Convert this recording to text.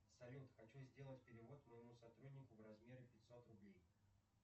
салют хочу сделать перевод моему сотруднику в размере пятьсот рублей